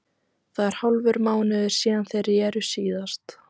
Það er hálfur mánuður síðan þeir reru síðast.